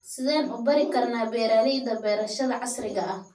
Sideen u bari karna beeralayda beerashada casriga ah.